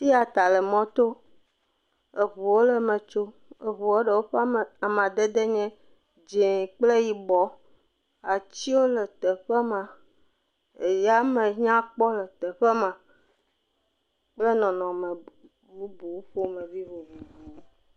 Tiata le mɔ to. Eʋuwo le eme tsom. Eʋuɔ ɖewo ƒe amadede nye dzẽ kple yibɔ. Atiwo le teƒe ma. Eya me nyakpɔ le teƒe ma kple nɔnɔme bubu ƒomevi vovovowo.